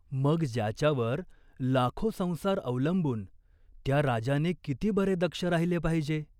मग ज्याच्यावर लाखो संसार अवलंबून, त्या राजाने किती बरे दक्ष राहिले पाहिजे ?